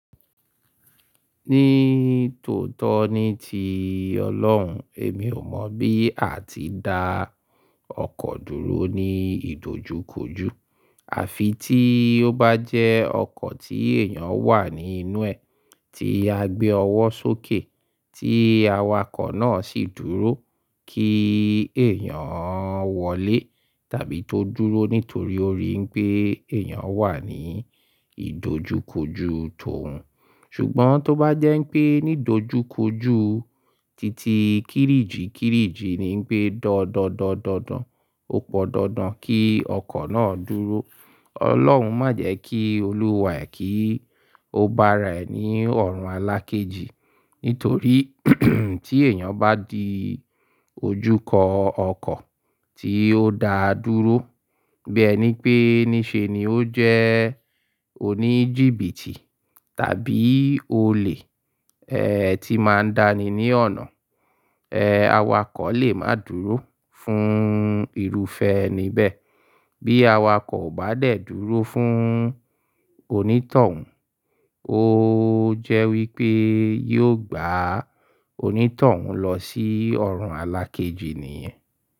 Ní tòótọ́ ní ti Ọlọ́run, èmi ò mọ̀ bí a ti dá ọkọ̀ dúró ní ìdojúkojú. Àfi tí ó bá jẹ́ ọkọ̀ tí èèyàn wà ní inú ẹ̀, tí a gbé ọwọ́ sókè, tí awakọ̀ náà sì dúró kí èèyàn wọlé tàbí tó dúró nítorí ó rí pé èèyàn wà ní ìdojúkojú tòun. Ṣùgbọ́n tó bá jẹ́ npé nídojúkojú titi kiriiji kiriiji ni pé dọ̀dọ̀dọ̀dọ̀n, ó pọ̀n dandan kí ọkọ̀ náà dúró. Ọlọ́run má jẹ́ kí olúwà e, kí ó bá ra ẹ̀ ní ọ̀run alákéji. Nítorí tí èèyàn bá di ojúkọ ọkọ̀ tí ó da dúró, bí ẹni pé ní ṣe ni ó jẹ́ oníjìbìtì tàbí olè, ẹni ti n máa ń dá ni ní ọ̀nà. Awakọ̀ lè máa dúró fún irúfẹ́ ẹni bẹ́ẹ̀. Bí awakọ̀ ò bá dẹ̀ dúró fún onítọ̀hún, ó jẹ́ wípé yóò gbá onítọ̀hún lọ sí ọ̀run alákéji nìyẹn.